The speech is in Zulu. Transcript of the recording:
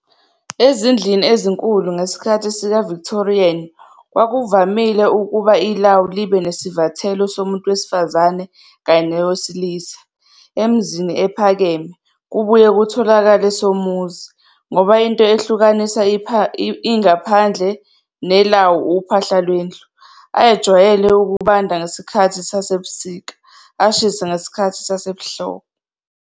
Ezindlini ezinkulu ngesikhathi sikaVictorian kwakuvamile ukuba iLawu libe nesivathelo somuntu wesifazane kanye nesowesilisa. Emzini ephakeme, kubuye kutholakale somuzi, Ngoba into ehlukanisa ingaphandle neLawu uphahla lwendlu, ayejwayele ukubanda ngezikhathi zasebusika, ashise ngesikhathi sasehlobo.